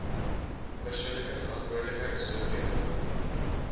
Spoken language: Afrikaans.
persoonlike verantwoordelikheid soveel